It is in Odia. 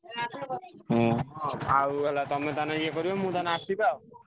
ହୁଁ ଆଉ ତମେ ତାହାଲେ ଏ କରିବ ମୁଁ ଆସିବି ଆଉ।